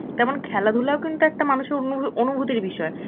তেমন খেলাধুলাও কিন্তু একটা মানুষের অনুভব~ অনুভূতির বিষয়.